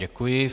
Děkuji.